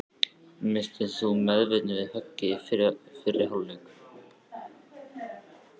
Misstir þú meðvitund við höggið í fyrri hálfleik?